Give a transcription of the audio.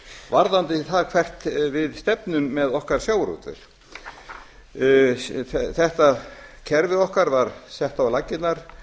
varðandi það hvert við stefnum með okkar sjávarútveg þetta kerfi okkar var sett á laggirnar